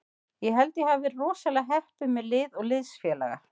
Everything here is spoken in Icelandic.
Ég held að ég hafi verið rosalega heppinn með lið og liðsfélaga.